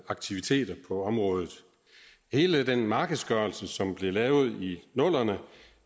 aktiviteter på området hele den markedsgørelse som blev lavet i nullerne